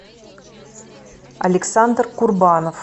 александр курбанов